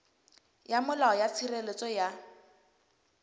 ya molao ya tshireletso ya